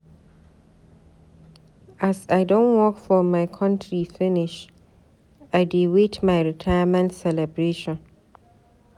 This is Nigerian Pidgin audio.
As I don work for my contri finish, I dey wait my retirement celebration.